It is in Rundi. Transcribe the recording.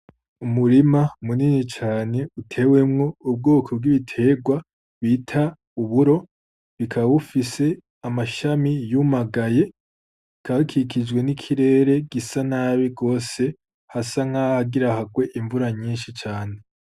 Umurima munini cane utewemwo ubwoko bw'iterwa bita Uburo bukaba bufise amashami yumuganye bukaba bukikijwe n'ikirere Gisa nabi gose, hasa nkahagira harwe imvura nyinshi cane.